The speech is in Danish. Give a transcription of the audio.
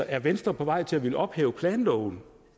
er venstre på vej til at ville ophæve planloven